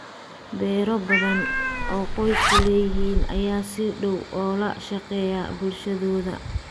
Beero badan oo qoysku leeyihiin ayaa si dhow ula shaqeeya bulshadooda.